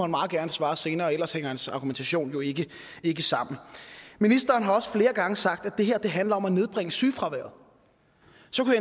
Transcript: meget gerne svare senere ellers hænger hans argumentation jo ikke ikke sammen ministeren har også flere gange sagt at det her handler om at nedbringe sygefraværet